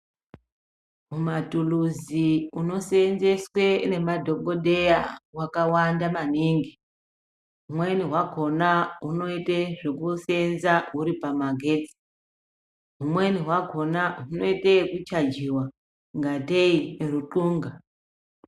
Huma tuluzi huno senzeswe ne madhokodheya hwaka wanda maningi umweni hwakona hunoite zveku senza huri pama getsi humweni hwakona hunoite yeku chajiwa kungatee rutunga.